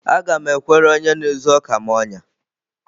Aga m ekwere onye na-ezu ọka m ọnyá.